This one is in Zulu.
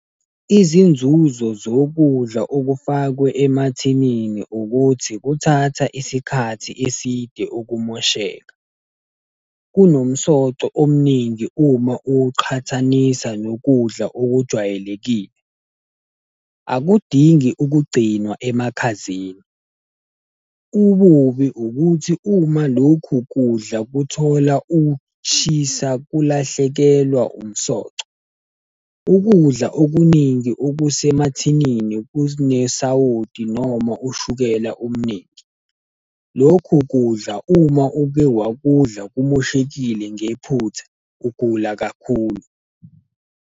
Izinzuzo zokudla okufakwe emathinini ukuthi kuthatha isikhathi eside ukumosheka. Kunomsoco omningi uma ukuqhathanisa nokudla okujwayelekile. Akudingi ukugcinwa emakhazeni. Ububi ukuthi uma lokhu kudla kuthola ukushisa kulahlekelwa umsoco. Ukudla okuningi okusemathinini kunesawoti noma ushukela omningi. Lokhu kudla uma uke wakudla kumoshekile ngephutha, ugula kakhulu.